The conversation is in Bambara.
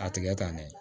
A tigɛ ka ne